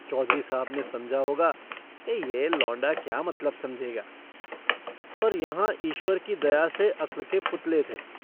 चौधरी साहब ने समझा होगा यह लौंडा क्या मतलब समझेगा पर यहाँ ईश्वर की दया से अक्ल के पुतले थे।